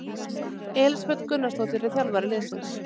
Elísabet Gunnarsdóttir er þjálfari liðsins.